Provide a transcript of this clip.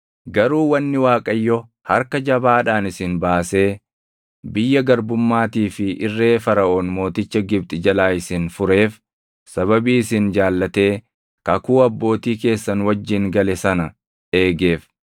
Garuu wanni Waaqayyo harka jabaadhaan isin baasee biyya garbummaatii fi irree Faraʼoon mooticha Gibxi jalaa isin fureef sababii isin jaallatee kakuu abbootii keessan wajjin gale sana eegeef.